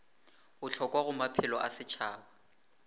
bohlokwa go maphelo a setšhaba